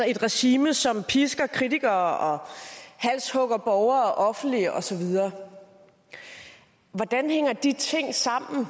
et regime som pisker kritikere og halshugger borgere offentligt og så videre hvordan hænger de ting sammen